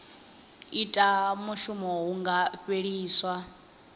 ita mushumo hu nga fheliswa